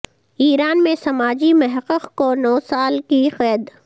ایران میں سماجی محقق کو نو سال کی قید